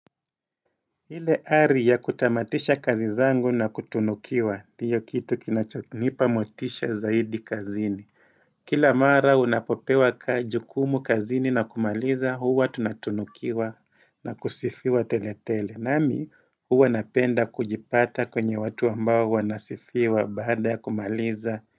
Ile hari ya kutamatisha kazi zangu na kutunukiwa ndiyo kitu kinachonipa motisha zaidi kazini Kila mara unapopewa kajukumu kazini na kumaliza huwa tunatunukiwa na kusifiwa tele tele. Nami huwa napenda kujipata kwenye watu ambao wanasifiwa baada kumaliza.